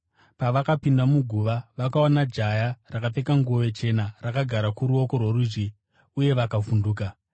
Pavakapinda muguva, vakaona jaya rakapfeka nguo chena rakagara kuruoko rworudyi, uye vakavhunduka.